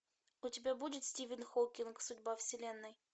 у тебя будет стивен хокинг судьба вселенной